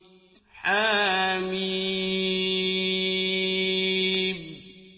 حم